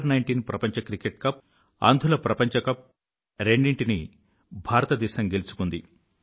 Under19 ప్రపంచ cricket cup అంధుల ప్రపంచ కప్ రెండిటినీ భారతదేశం గెలుచుకుంది